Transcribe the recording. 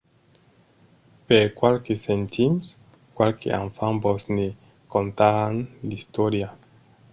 per qualques centims qualques enfants vos ne contaràn l’istòria